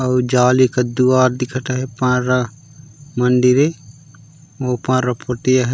और जाल एकर द्वार दिखत हे मुंडरी ऊपर ओ पुट्ठी हे।